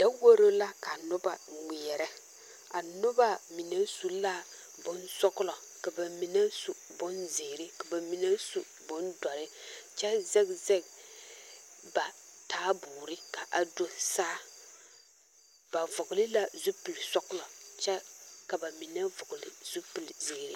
Daworo la ka noba ŋmeԑrԑ. A noba mine su la bonsͻgelͻ ka ba mine su bonzeere ka ba mine su bondͻre kyԑ zԑge zԑge ba taaboore ka a do saa. Ba vͻgele la zupili sͻgelͻ kyԑ ka ba mine vͻgele zupili zeere.